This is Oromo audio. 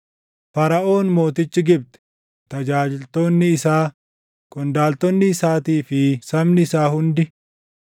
Faraʼoon mootichi Gibxi, tajaajiltoonni isaa, qondaaltonni isaatii fi sabni isaa hundi,